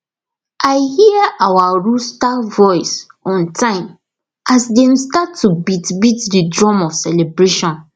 i hear our rooster voice on time as dem start to beat beat the drum of celebration